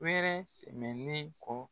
Wɛrɛ tɛmɛnnen kɔ